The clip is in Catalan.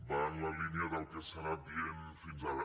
va en la línia del que s’ha anat dient fins ara